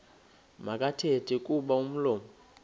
makathethe kuba umlomo